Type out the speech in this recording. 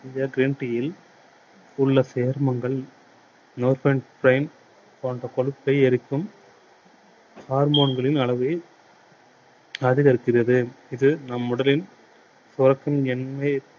இந்த green tea யில் உள்ள சேர்மங்கள் போன்ற கொழுப்பை எரிக்கும் harmone களின் அளவை அதிகரிக்கிறது. இது நம் உடலில்